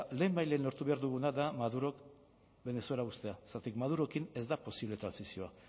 lehenbailehen lortu behar duguna da madurok venezuela uztea zergatik madurokin ez da posible trantsizioa